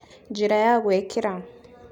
Njĩra ya gwĩkĩra